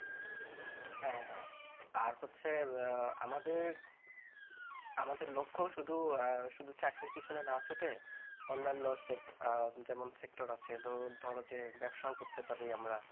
হ্যাঁ হ্যাঁ আর হচ্ছে আমাদের আমাদের লক্ষ্য শুধু শুধু চাকরির পিছনে না ছুটে অন্যান্য যেমন sector আছে যেমন ধরো যে ব্যবসাও করতে পারি আমরা ।